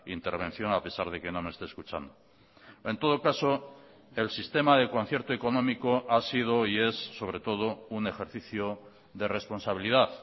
intervención a pesar de que no me esté escuchando en todo caso el sistema de concierto económico ha sido y es sobre todo un ejercicio de responsabilidad